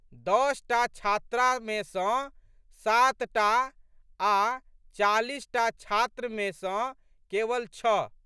दस टा छात्रामे सँ सात टा आ' चालीसटा छात्रमे केवल छ।